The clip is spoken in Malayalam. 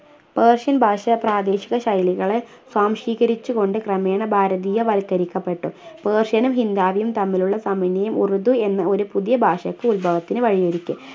persian ഭാഷ പ്രാദേശിക ശൈലികളെ സ്വാംശീകരിച്ചു കൊണ്ട് ക്രമേണ ഭാരതീയവൽക്കരിക്കപ്പെട്ടു persian നും ഹിന്ദാവിയും തമ്മിലുള്ള സാമന്യയം ഉറുദു എന്ന ഒരു പുതിയ ഭാഷക്ക് ഉത്ഭവത്തിന് വഴിയൊരുക്കി